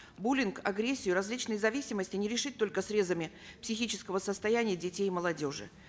буллинг агрессию различные зависимости не решить только срезами психического состояния детей и молодежи